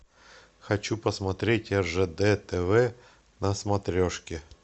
хочу посмотреть ржд тв на смотрешке